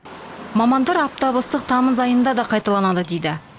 мамандар аптап ыстық тамыз айында да қайталанады дейді